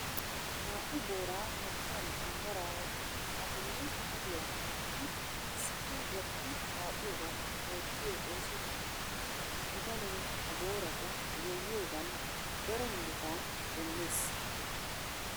Naa"u booraa morggiyan qambbara woottidi a bolli kaduwa wottidi issippe gatti waaxiyoogan oottiyo ooso qommo. Bitanee ha boorata goyyiyogan daro muruta demmees.